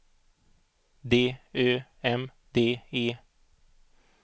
D Ö M D E